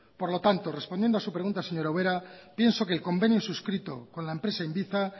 por lo tanto respondiendo a su pregunta señora ubera pienso que el convenio suscrito con la empresa inviza